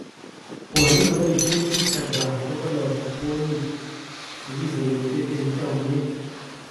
Kwando nepaishen Instagram kokalachi kwanyik chekiserete eng chamiet